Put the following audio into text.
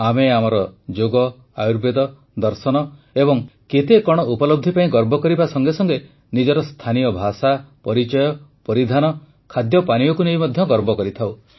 ଆମେ ଆମର ଯୋଗ ଆୟୁର୍ବେଦ ଦର୍ଶନ ଏବଂ କେତେ କଣ ଉପଲବ୍ଧି ପାଇଁ ଗର୍ବ କରିବା ସଙ୍ଗେସଙ୍ଗେ ନିଜର ସ୍ଥାନୀୟ ଭାଷା ପରିଚୟ ପରିଧାନ ଖାଦ୍ୟପାନୀୟକୁ ନେଇ ମଧ୍ୟ ଗର୍ବ କରିଥାଉ